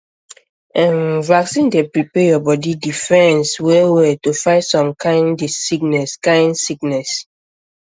um vaccine dey prepare your body defense wellwell to fight some kind sickness kind sickness